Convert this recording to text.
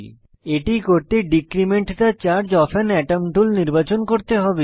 এটি decrement the charge of an atom tool নির্বাচন করতে হবে